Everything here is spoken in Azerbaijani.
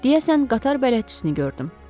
Deyəsən qatar bələdçisini gördüm.